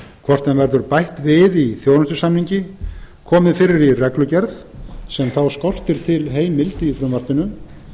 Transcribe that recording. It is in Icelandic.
hvort honum verður bætt við í þjónustusamningi komið fyrir í reglugerð sem þá skortir fyrir heimild í frumvarpinu